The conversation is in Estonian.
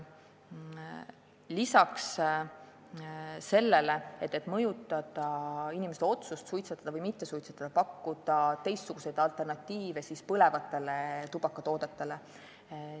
Lisaks sellele, et püüda mõjutada inimeste otsust mitte suitsetada, võiks tõesti pakkuda alternatiive põlevatele tubakatoodetele.